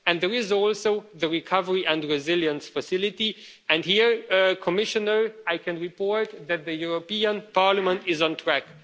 And there is also the Recovery and Resilience Facility, and here, Commissioner, I can report that the European Parliament is on track.